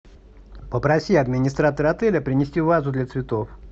попроси администратора отеля принести вазу для цветов